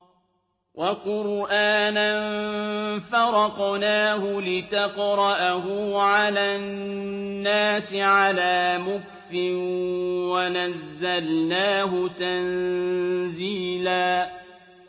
وَقُرْآنًا فَرَقْنَاهُ لِتَقْرَأَهُ عَلَى النَّاسِ عَلَىٰ مُكْثٍ وَنَزَّلْنَاهُ تَنزِيلًا